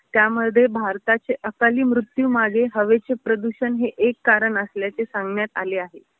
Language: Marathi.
त्यामधे भारताचे अकाली मृत्यू मागे हवेचे प्रदूषण हे एक कारण असल्याचे सांगण्यात आले आहे.